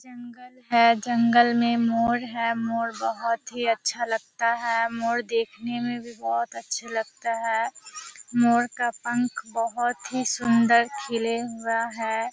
जंगल है जंगल में मोर है मोर बहोत ही अच्छा लगता है। मोर देखने में भी बहोत अच्छा लगता है। मोर का पंख बहोत ही सुंदर खिले हुआ है।